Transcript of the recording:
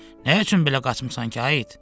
Nə üçün belə qaçmısan ki, ay it?